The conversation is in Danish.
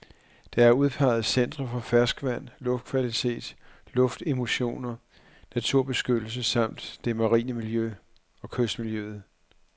Der er udpeget centre for ferskvand, luftkvalitet, luftemissioner, naturbeskyttelse samt det marine miljø og kystmiljøet.